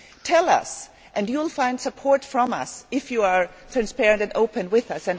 Tell us, and you will find support from us if you are transparent and open with us.